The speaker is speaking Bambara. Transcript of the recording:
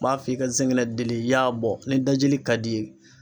N b'a f'i ka sinɛŋɛ deli i y'a bɔ ni dajili ka d'i ye.